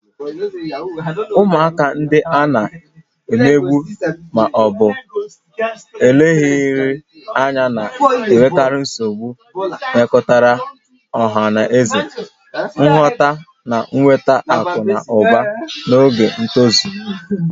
Ụmụaka ndị a na-emegbu ma ọ bụ leghaara anya na-enwekarị nsogbu mmekọrịta ọha na eze, nghọta, na nweta akụ na ụba n'oge ntozu